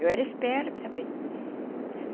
Eu era esperta, bem.